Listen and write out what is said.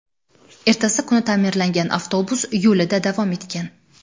Ertasi kuni ta’mirlangan avtobus yo‘lida davom etgan.